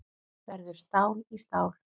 Verður stál í stál